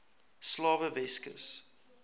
slawe weskus